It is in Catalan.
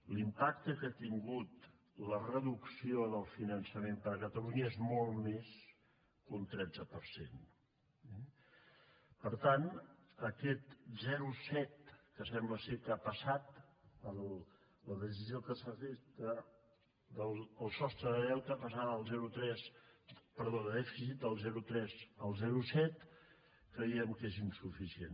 l’impacte que ha tingut la reducció del finançament per a catalunya és molt més que un tretze per cent eh per tant aquest zero coma set a què sembla que ha passat per la decisió que s’ha fet del sostre de dèficit de passar del zero coma tres al zero coma set creiem que és insuficient